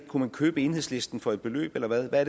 kunne man købe enhedslisten for et beløb eller hvad hvad